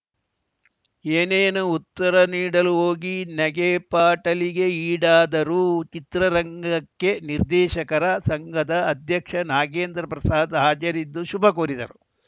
ಏನೇನೋ ಉತ್ತರ ನೀಡಲು ಹೋಗಿ ನಗೆಪಾಟಲಿಗೆ ಈಡಾದರು ಚಿತ್ರರಂಗಕ್ಕೆ ನಿರ್ದೇಶಕರ ಸಂಘದ ಅಧ್ಯಕ್ಷ ನಾಗೇಂದ್ರ ಪ್ರಸಾದ್‌ ಹಾಜರಿದ್ದು ಶುಭ ಕೋರಿದರು